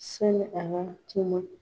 Sani a ka tuma.